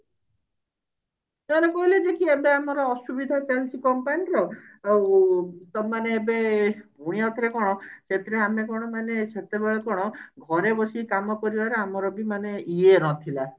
କହିଲେ କି ଏବେ ଆମର ଅସୁବିଧା ଚାଲିଛି company ର ଆଉ ତମେମାନେ ଏବେ ପୁଣି ଆଉ ଥରେ କଣ ସେଥିରେ ଆମେ କଣ ମାନେ ସେତେବେଳେ କଣ ଘରେ ବସି କାମ କରିବାରେ ଆମର ବି ମାନେ ଇଏ ନଥିଲା